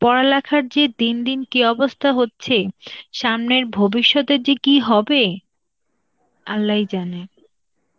পড়ালেখার যে দিন দিন কি অবস্থা হচ্ছে, সামনের ভবিষ্যতের যে কি হবে, Arbi ই জানে.